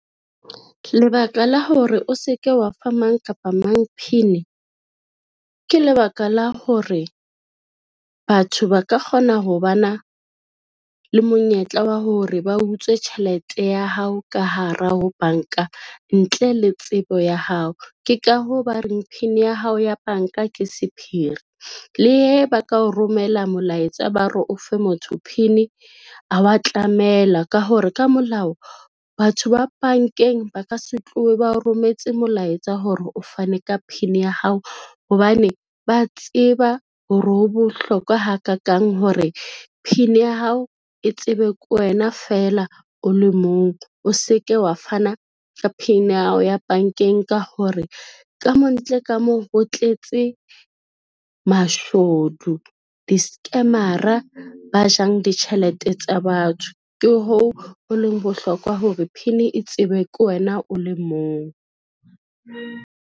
Lebaka la hore o se ke wa fa mang kapa mang PIN, ke lebaka la hore batho ba ka kgona ho bana le monyetla wa hore ba utswe tjhelete ya hao ka hara ho banka ntle le tsebo ya hao. Ke ka hoo ba reng PIN ya hao ya banka ke sephiri le he ba ka o romela molaetsa, ba re ofe motho PIN ha wa tlamela ka hore ka molao, batho ba bankeng ba ka se tlohe ba o rometse molaetsa hore o fane ka PIN ya hao hobane ba tseba hore ho bohlokwa hakakang hore pin ya hao e tsebe ke wena fela o le mong, o se ke wa fana ka PIN ya hao ya bankeng, ka hore ka mo ntle ka mo ho tletse mashodu di-scammer-ra ba jang ditjhelete tsa batho. Ke hoo ho leng bohlokwa hore PIN e tsebe ke wena o le mong.